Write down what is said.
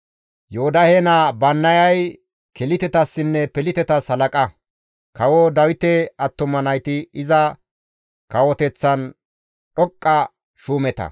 Yoodahe naa Bannayay Kelitetassinne Pelitetas halaqa; kawo Dawite attuma nayti iza kawoteththan dhoqqa shuumeta.